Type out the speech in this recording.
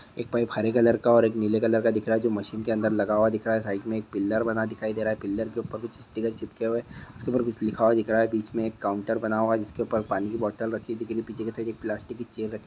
एक पाइप हरे कलर का ओर नीले कलर का दिख रहा है जो मशीन के अंदर लगा हुआ दिख रहा है साइड मे एक पिलर बना दिखाई दे रहा है पिलर के ऊपर कुछ स्टिकर चिपके हुए-- इसके ऊपर कुछ लिखा हुआ दिख रहा है बीच मे एक काउन्टर बना हुआ है जिसके ऊपर पानी की बोतल रखी दिख रही है पीछे की साइड एक प्लास्टिक की चैर रखी--